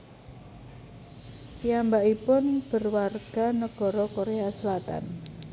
Piyambakipun berwarga nagara Korea Selatan